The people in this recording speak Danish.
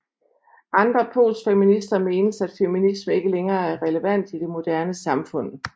Andre postfeminister mener at feminisme ikke længere er relevant i det moderne samfund